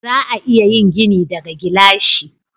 Za a iya yin gini daga gilashi.